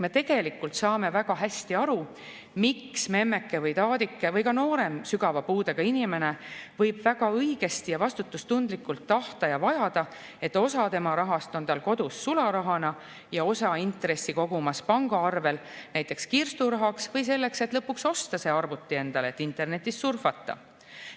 Me tegelikult saame väga hästi aru, miks memmeke või taadike või ka noorem sügava puudega inimene võib väga õigesti ja vastutustundlikult tahta ja vajada, et osa tema rahast oleks kodus sularahana ja osa intressi kogumas pangaarvel, näiteks kirsturahaks või selleks, et lõpuks osta endale arvuti, et internetis surfata.